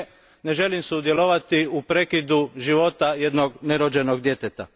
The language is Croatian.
Ne, ne želim sudjelovati u prekidu života jednog nerođenog djeteta.